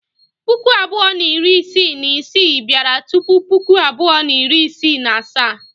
Puku abụọ na iri isii na isii bịara tupu Puku abụọ na iri isii na asaa.